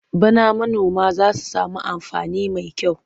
Bana manoma za su sami amfani mai yawa.